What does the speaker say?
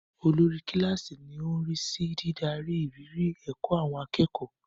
Olórí kíláàsì ni ó ń rí sí dídarí ìrírí ẹ̀kọ́ àwọn akẹ́kọ̀ọ́.